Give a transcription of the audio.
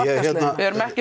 erum ekki